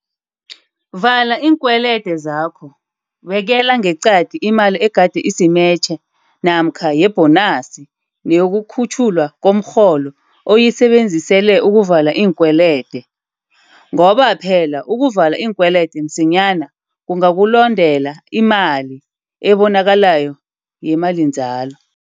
Vala iinkwelede zakho Bekela ngeqadi imali egade isimetjhe namkha yebhonasi neyokukhutjhulwa komrholo uyisebenzisele ukuvala iinkwelede, ngoba phela ukuvala iinkwelede msinyana kungakulondela imali ebonakalako yemalinzalo.